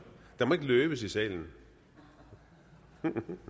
der må ikke løbes i salen